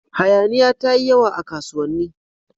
Hayaniya ta yi yawa a kasuwanni.